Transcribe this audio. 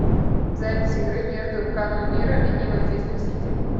запись игры между канонирами и манчестер сити